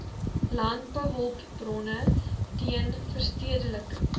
landbouhulpbronne teen verstedeliking